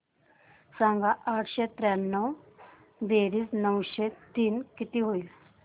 सांग आठशे त्र्याण्णव बेरीज नऊशे तीन किती होईल